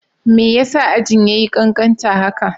Me yasa ajin yayi kankanta haka?